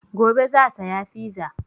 Gobe za saya fiza